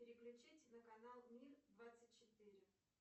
переключить на канал мир двадцать четыре